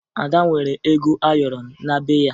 Ada nwere ego ayọrọ na be ya